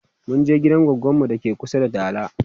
munje gidan goggon mu dake kusa da dala